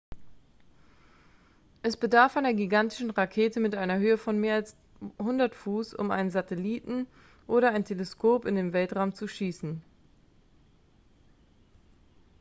es bedarf einer gigantischen rakete mit einer höhe von mehr als 100 fuß um einen satelliten oder ein teleskop in den weltraum zu schießen